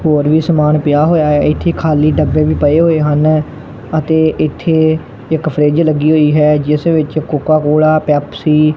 ਹੋਰ ਵੀ ਸਮਾਨ ਪਿਆ ਹੋਇਆ ਹ ਇਥੇ ਖਾਲੀ ਡੱਬੇ ਵੀ ਪਏ ਹੋਏ ਹਨ ਅਤੇ ਇੱਥੇ ਇੱਕ ਫਰਿਜ ਲੱਗੀ ਹੋਈ ਹੈ ਜਿਸ ਵਿੱਚ ਕੋਕਾ ਕੋਲਾ ਪੈਪਸੀ --